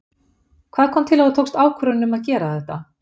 Hvað kom til að þú tókst ákvörðun um að gera þetta?